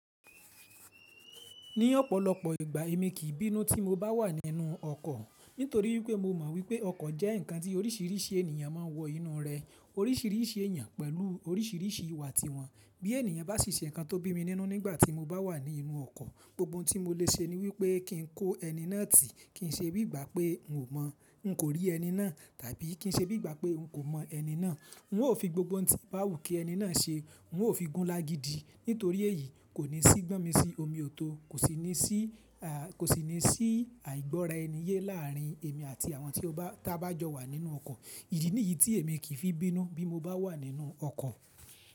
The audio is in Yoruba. Ní ọ̀pọ̀lọpọ̀ ìgbà èmi kì í bínú tí mo bá wà nínú ọkọ̀ nítorí wípé mo mọ̀ wípé ọkọ̀ jẹ́ ǹkan tí oríṣìíríṣìí ènìyàn máa ń wọ inú rẹ̀. Oríṣìíríṣìí ènìyàn pẹ̀lú oríṣìíríṣìí ìwà tiwọn. Bí ènìyàn bá sì ṣe ǹkan tó bínú nínú nígbà tí mo bá wà nínú ọkọ̀, gbogbo ohun tí mo lè ṣe ni wípé kí n kó ẹni náà tì, kí n ṣe bí ìgbà pé n kò rí ẹni náà, tàbí kí n ṣe bí ìgbà pé n kò mọ̀ ẹni náà. N ó fi gbogbo ǹkan báwù kí ẹni náà ṣe, n ó fi gún lági di. Nítorí èyí, kò ní sí gbọ́n mi sí omiòto, kò sì ní sí àìgbọ́raeniye láàrin èmi àti àwọn tí a bá jọ wà nínú ọkọ̀. Ìdí nìyí tí èmi kì í fi bínú bí mo bá wà nínú ọkọ̀